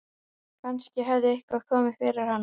Kannski hafði eitthvað komið fyrir hana.